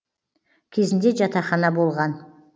кезінде жатахана болған